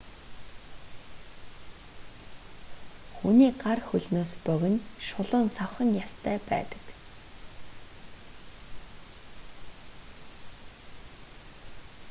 хүний гар хөлнөөс богино шулуун савхан ястай байдаг